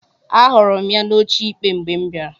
Ahụrụ m ya n'oche ikpe mgbe m bịara.